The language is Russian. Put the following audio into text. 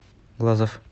глазов